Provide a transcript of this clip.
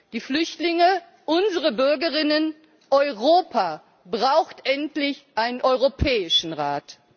Die Flüchtlinge, unsere Bürgerinnen und Bürger, Europa brauchen endlich einen europäischen Rat!